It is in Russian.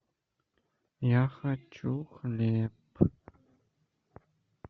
я хочу хлеб